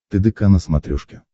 тдк на смотрешке